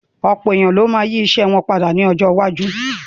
Ọ̀pọ̀ èèyàn ló ma yí ìṣe wọn padà ní ọjọ́ iwájú